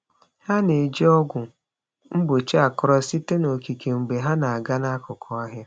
Ha na-eji ọgwụ mgbochi akọrọ sitere n’okike mgbe ha na-aga n’akụkụ ọhịa.